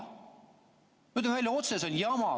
Ma ütlen otse välja: see on jama.